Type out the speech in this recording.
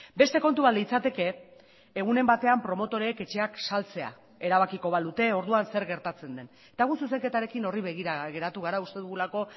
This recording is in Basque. beste kontu bat litzateke egunen batean promotoreek etxeak saltzea erabakiko balute orduan zer gertatzen den eta gu zuzenketarekin horri begira geratu gara uste dugulako